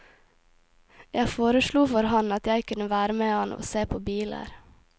Jeg foreslo for han at jeg kunne være med han og se på biler.